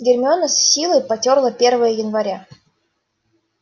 гермиона с силой потёрла первое января